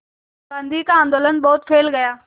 गांधी का आंदोलन बहुत फैल गया